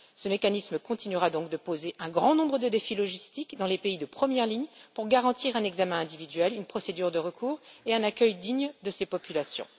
Ce mécanisme continuera donc de poser un grand nombre de défis logistiques dans les pays de première ligne pour garantir un examen individuel, une procédure de recours et un accueil digne de ces populations.